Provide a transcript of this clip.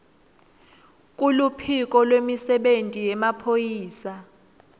kuluphiko lwemisebenti yemaphoyisa